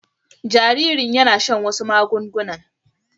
Jaririn yana shan wasu magungunan